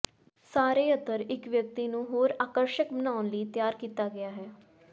ਸਾਰੇ ਅਤਰ ਇੱਕ ਵਿਅਕਤੀ ਨੂੰ ਹੋਰ ਆਕਰਸ਼ਕ ਬਣਾਉਣ ਲਈ ਤਿਆਰ ਕੀਤਾ ਗਿਆ ਹੈ